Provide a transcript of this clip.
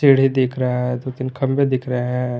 सीढ़ी दिख रहा है दो तीन बम्बे दिख रहे है।